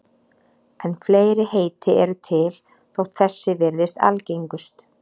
En fleiri heiti eru til þótt þessi virðist algengust.